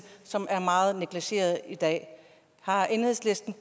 som er meget negligeret i dag har enhedslisten